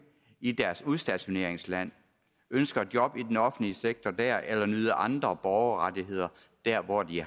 i deres udstationeringsland ønsker et job i den offentlige sektor dér eller at nyde andre borgerrettigheder der hvor de